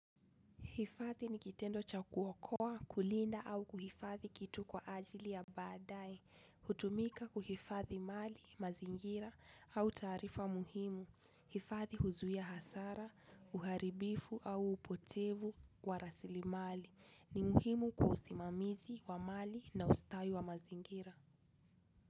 Hifadhi ni kitendo cha kuokoa kulinda, au kuhifadhi kitu kwa ajili ya baadaye. Hutumika kuhifathi mali, mazingira au taarifa muhimu. Hifathi huzuia hasara, uharibifu au upotevu wa rasili mali. Ni muhimu kwa usimamizi wa mali na ustawi wa mazingira.